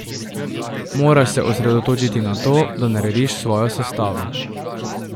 Moraš se osredotočiti na to, da narediš svojo sestavo.